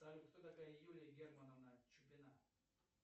салют кто такая юлия германовна чупина